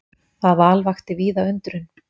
Það val vakti víða undrun.